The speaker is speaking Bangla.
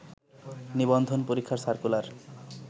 নিবন্ধন পরীক্ষার সার্কুলার